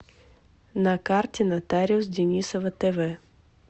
на карте нотариус денисова тв